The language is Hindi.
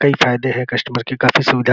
कई फायदे हैं कस्टमर के काफी सुविधा --